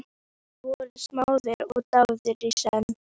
Þeir voru smáðir og dáðir í senn.